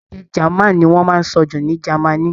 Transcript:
Èdè German ní wọ́n máa ń sọ jù ní Germany.